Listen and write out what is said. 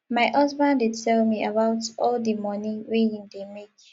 my husband dey tell me about all di moni wey im dey make